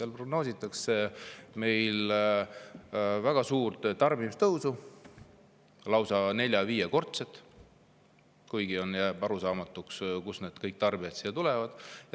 Seal prognoositakse väga suurt tarbimise tõusu, lausa nelja-viiekordset, kuigi jääb arusaamatuks, kust kõik need tarbijad juurde tulevad.